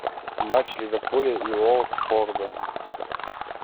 матч ливерпуля и уотфорда